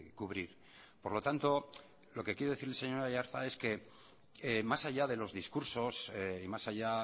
cubrir por lo tanto lo que quiero decir señor aiartza es que más allá de los discursos y más allá